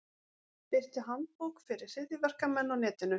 Birti handbók fyrir hryðjuverkamenn á netinu